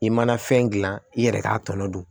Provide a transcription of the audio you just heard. I mana fɛn gilan i yɛrɛ k'a tɔnɔ dun